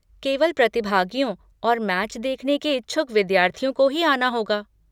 केवल प्रतिभागियों और मैच देखने के इच्छुक विद्यार्थियों को ही आना होगा।